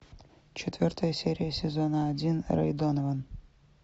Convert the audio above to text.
четвертая серия сезона один рэй донован